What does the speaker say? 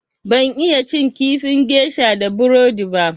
Ban iya cin kifin gesha da burodi ba.